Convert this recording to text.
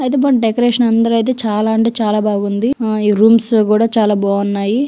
అయితే మనం డెకరేషన్ ఇందులో అయితే చాలా అంటే చాలా బాగుంది. ఆ ఈ రూమ్ స్ కూడా చాలా బాగున్నాయి.